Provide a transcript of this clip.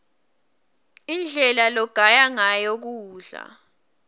indlela logaya ngayo kudla